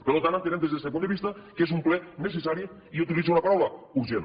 per tant entenem des d’este punt de vista que és un ple necessari i utilitzo la paraula urgent